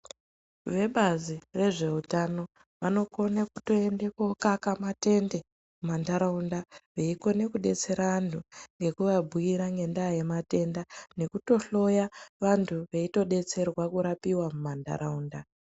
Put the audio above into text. Vebazi rezveutano vanokone kutoende kookaka matende mumantaraunda veikone kudetsera antu ngekuvabhuira ngendaa yematenda nekutohloya vantu veitodetserwa kurapiwa mumantaraunda.